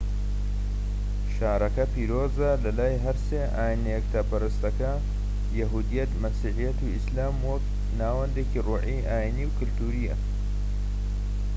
شارەکە پیرۆزە لە لای هەر سێ ئاینە یەکتاپەرستەکە یەهودیەت مەسیحیەت و ئیسلام وەک ناوەندێکی ڕۆحی ئاینیی و کەلتوریە